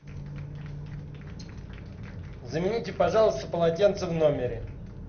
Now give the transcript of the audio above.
замените пожалуйста полотенца в номере